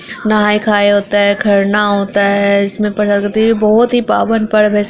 नहाए खाए होता है खरना होता है इसमे प्रसाद खाते ये बोहोत ही पावन पर्व से --